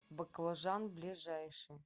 баклажан ближайший